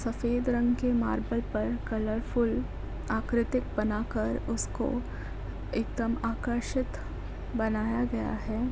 सफ़ेद रंग के मार्बल पर कलरफुल्ल आकृतिक बना कर उस को एक दम आकर्षित बनाया गया है।